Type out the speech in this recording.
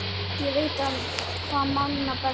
Ég veit það manna best.